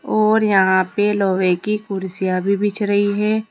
और यहां पे लोहे की कुर्सियां भी बिछ रही है।